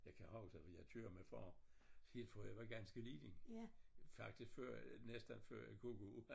Jeg kan huske jeg kører med far helt fra jeg var ganske lille faktisk før næsten før jeg kunne gå